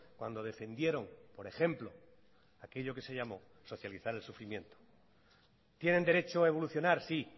cuando defendieron por ejemplo aquello que se llamó socializar el sufrimiento tienen derecho a evolucionar sí